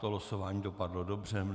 To losování dopadlo dobře.